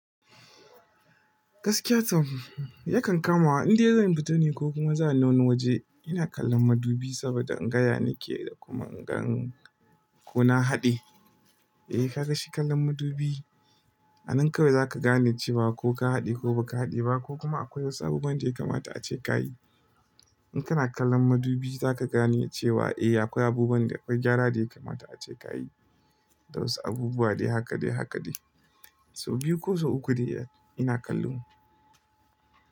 Gaskiya to, yakan kamawa indai zan fita ne ko kuma za ni wani waje ina kallon madubi saboda ga ya nake da kuma ingan ko na haɗe. Eh ka san shi kallon madubi, a nan kawai zaka gane cewa ko ka haɗe ko baka haɗe ba ko kuma akwai wasu abubuwan da ya kamata a ce ka yi. In kana kallon madubi zaka gane cewa eh akwai abubuwan da akwai gyara da ya kamata a ce ka yi da wasu abubuwa dai haka dai haka dai. Sau biyu ko sau uku dai ina kallo.